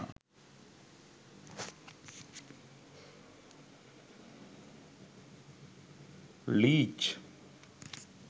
leech